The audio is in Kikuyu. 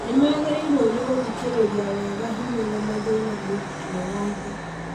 Nĩ magĩrĩrwo nĩ gũthikĩrĩria wega hinya na mathina mũrutwo wothe